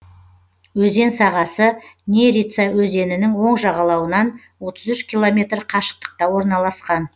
өзен сағасы нерица өзенінің оң жағалауынан отыз үш километр қашықтықта орналасқан